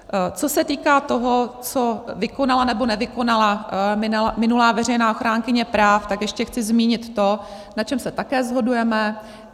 Co se týká toho, co vykonala, nebo nevykonala minulá veřejná ochránkyně práv, tak ještě chci zmínit to, na čem se také shodujeme.